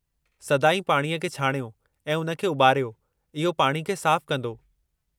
सदाईं पाणीअ खे छाणियो ऐं उन खे उॿारियो, इहो पाणी खे साफ़ु कंदो।